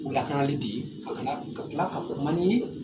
U lakarali de ye a ka na ka tila ka kuma ni